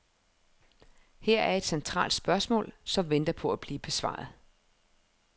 Her er et centralt spørgsmål, som venter på at blive besvaret.